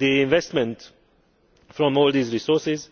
Investment from all these resources